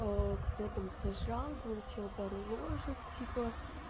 кто там сожрал да он съел пару ложек типа